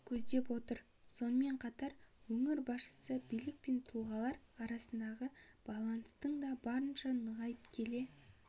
көздеп отыр сонымен қатар өңір басшысы билік пен тұрғындар арасындағы байланыстың да барынша нығайып келе